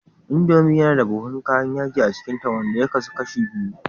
Indomie yana da buhun kayan yaji a cikinta, wanda ya kasu kashi biyu